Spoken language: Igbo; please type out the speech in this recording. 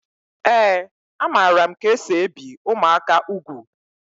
Ee a maara m ka esị ebi ụmụaka ùgwù